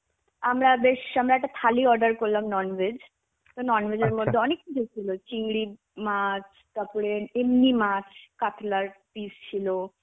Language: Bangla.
আমরা বেশ আমরা একটা থালি order করলাম Non-veg. তো Non-veg এর মধ্যে অনেক কিছু ছিল. চিংড়ি মাছ, তারপরে এমনি মাছ কাতলার piece ছিল.